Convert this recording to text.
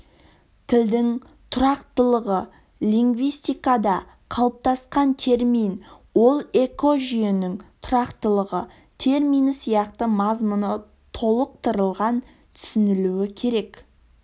тілдің тұрақтылығы лингвистикада қалыптасқан термин ол экожүйенің тұрақтылығы термині сияқты мазмұны толықтырылып түсінілуі керек